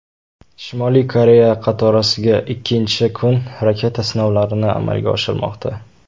Shimoliy Koreya qatorasiga ikkinchi kun raketa sinovlarini amalga oshirmoqda.